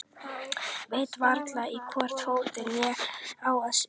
Veit varla í hvorn fótinn ég á að stíga.